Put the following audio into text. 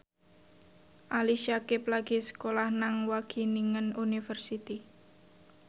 Ali Syakieb lagi sekolah nang Wageningen University